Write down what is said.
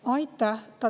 Aitäh!